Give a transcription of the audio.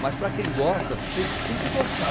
Mas para quem gosta, te tem que gostar.